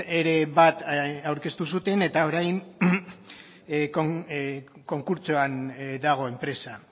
ere bat aurkeztu zuten eta orain konkurtsoan dago enpresa